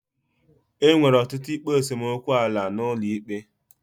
Enwere ọtụtụ ikpe esemokwu ala n'ụlọ ikpe.